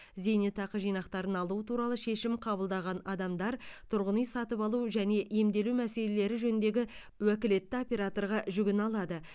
зейнетақы жинақтарын алу туралы шешім қабылдаған адамдар тұрғын үй сатып алу және емделу мәселелері жөніндегі уәкілетті операторға жүгіне алады